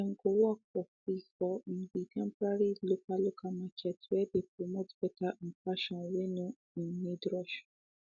dem go work for free for um the temporary local local market whey dey promote better um fashion whey no um need rush